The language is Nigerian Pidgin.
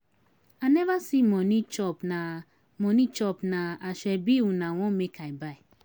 I neva see moni chop na moni chop na asoebi una want make I buy.